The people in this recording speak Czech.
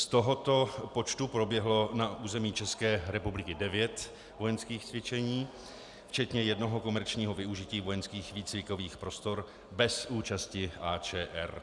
Z tohoto počtu proběhlo na území České republiky 9 vojenských cvičení, včetně jednoho komerčního využití vojenských výcvikových prostor bez účasti AČR.